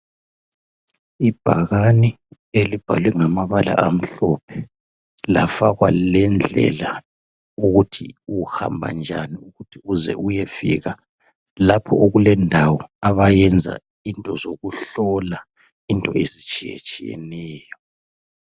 Ibhakani elibhalwe ngamabala amhlophe lafakwa lendlela yokuthi uhamba njani, uze uyefika lapho okulendawo abayenza into zokuhlola into ezitshiyetshiyeneyo.